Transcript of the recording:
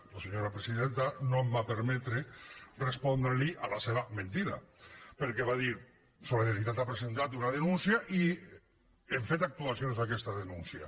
la senyora presidenta no em va permetre respondre a la seva mentida perquè va dir solidaritat ha presentat una denúncia i hem fet actuacions d’aquesta denúncia